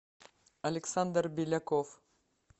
александр беляков